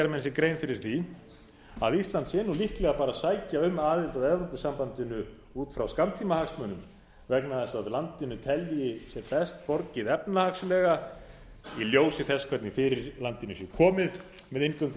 sér grein fyrir því að ísland sé liðleg bara að sækja um aðild að evrópusambandinu út frá skammtímahagsmunum vegna þess að landið telji sér best borgið efnahagslega í ljósi þess hvernig fyrir landinu sé komið með inngöngu í